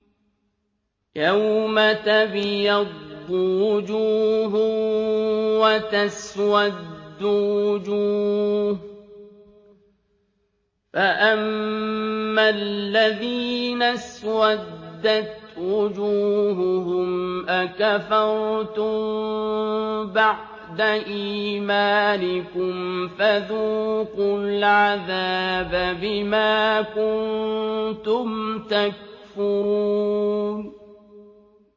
يَوْمَ تَبْيَضُّ وُجُوهٌ وَتَسْوَدُّ وُجُوهٌ ۚ فَأَمَّا الَّذِينَ اسْوَدَّتْ وُجُوهُهُمْ أَكَفَرْتُم بَعْدَ إِيمَانِكُمْ فَذُوقُوا الْعَذَابَ بِمَا كُنتُمْ تَكْفُرُونَ